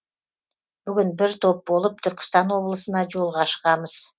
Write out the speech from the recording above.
бүгін бір топ болып түркістан облысына жолға шығамыз